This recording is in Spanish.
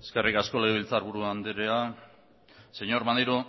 eskerrik asko legebiltzarburu andrea señor maneiro